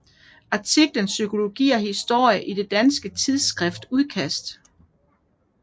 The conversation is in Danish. Artiklen Psykologi og historie i det danske tidsskrift Udkast